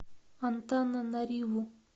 антананариву